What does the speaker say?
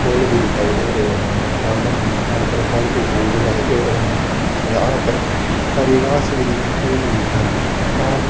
फूल भी दिखाई दे रही हैं गार्डन में हर प्रकार फूल दिखाई दे रहे है यहां पर हरि घास भी दिखाई दे रही हैं।